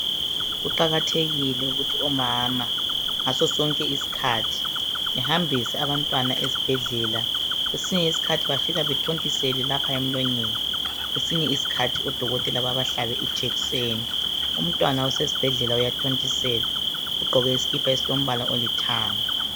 Kuqakathekile ukuthi omama ngaso sonke isikhathi bahambise abantwana esibhedlela kwesinye isikhathi bafika baba thontisele lapha emlonyeni ,kwesinye isikhathi o dokotela baba hlabe ijekiseni umntwana usesibhedlela uyathontiselwa ugqoke isikipa esilithanga .